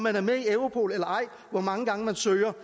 er med i europol og hvor mange gange man søger